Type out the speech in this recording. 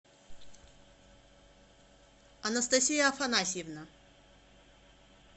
анастасия афанасьевна